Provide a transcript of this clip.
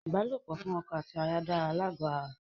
Ìbálòpọ̀ fún ọkọ àti aya dára lágó ara.